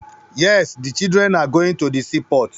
Êàê ó íàñ íåò íè÷åì íå íà÷èíàò.